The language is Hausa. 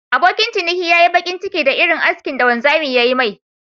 Abokin ciniki ya nmyi bakin ciki da Irin askin da wanzamin ya Yi me..